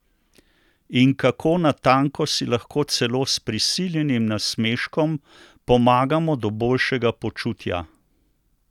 In kako natanko si lahko celo s prisiljenim nasmeškom pomagamo do boljšega počutja?